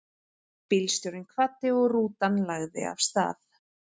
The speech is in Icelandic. Bílstjórinn kvaddi og rútan lagði af stað.